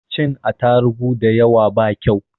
Cin atarugu dayawa ba kau